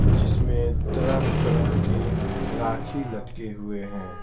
जिसमें तरह-तरह के राखी लटके हुए हैं।